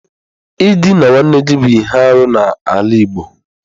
Ịdịna nwanne gị bụ ihe arụ n'ala igbo.